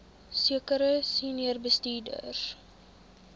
sekere senior bestuurders